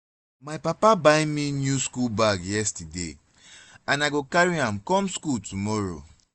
my papa buy me new school bag yesterday and i go carry am come school tomorrow